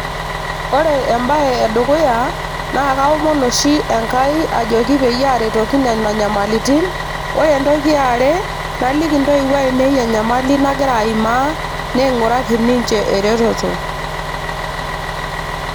ore embaye edukuya naa kaomon oshi Enkai ajoki peyie aaretoki nena nyamalitin ore entoki e are naliki intoiwuo ainei enyamali nagira aimaa naing'uraki ninche eretoto.